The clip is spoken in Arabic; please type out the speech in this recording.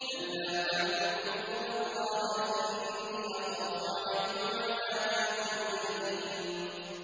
أَن لَّا تَعْبُدُوا إِلَّا اللَّهَ ۖ إِنِّي أَخَافُ عَلَيْكُمْ عَذَابَ يَوْمٍ أَلِيمٍ